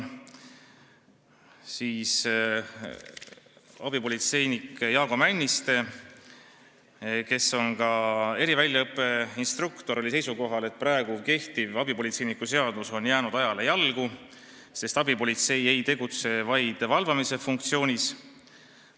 Abipolitseinik Jaago Männiste, kes on ka eriväljaõppeinstruktor, oli seisukohal, et kehtiv abipolitseiniku seadus on jäänud ajale jalgu, sest abipolitsei ei tegutse vaid valvamise funktsioonis.